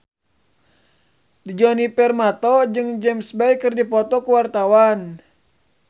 Djoni Permato jeung James Bay keur dipoto ku wartawan